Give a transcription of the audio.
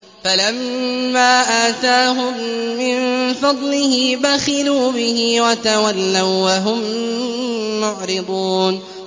فَلَمَّا آتَاهُم مِّن فَضْلِهِ بَخِلُوا بِهِ وَتَوَلَّوا وَّهُم مُّعْرِضُونَ